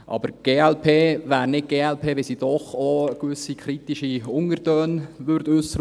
Aber die glp wäre nicht die glp, wenn sie nicht doch auch gewisse kritische Untertöne äussern würde.